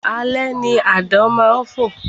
Alẹ́ ni àdán má ń fò